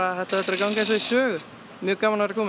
þetta á eftir að ganga eins og í sögu mjög gaman að vera komin